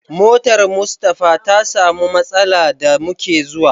Motar Mustapha ta samu matsala da muke zuwa.